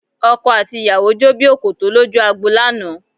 Ọkọ àti ìyàwó jó bí òkòtó lójú agbo lánàá